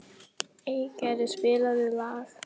Eygerður, spilaðu lag.